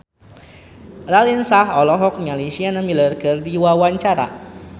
Raline Shah olohok ningali Sienna Miller keur diwawancara